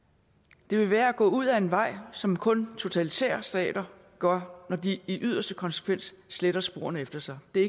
det vil være at gå ud ad en vej som kun totalitære stater gør når de i yderste konsekvens sletter sporene efter sig det